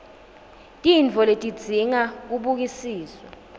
tintfo letidzinga kubukisiswa